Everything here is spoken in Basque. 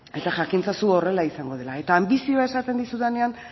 eta jakin ezazu horrela izango dela eta anbizioa esaten dizudanean